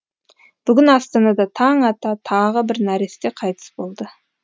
бүгін астанада таң ата тағы бір нәресте қайтыс болды